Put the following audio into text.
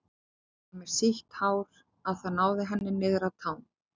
Hún var með svo sítt hár að það náði henni niður að tám.